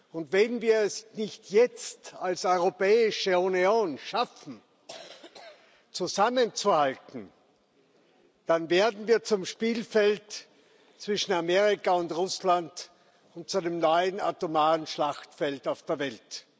Und wenn wir es nicht jetzt als Europäische Union schaffen, zusammenzuhalten, dann werden wir zum Spielfeld zwischen Amerika und Russland und zu einem neuen atomaren Schlachtfeld auf der Welt.